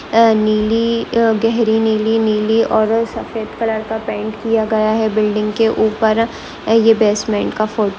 यह नीली एह गहरी नीली नीली और सफेद कलर का पेंट किया गया है बिल्डिंग के ऊपर। यह बेसमेंट का फोटो --